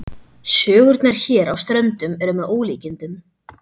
Sögurnar hér á Ströndum eru með ólíkindum.